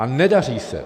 A nedaří se.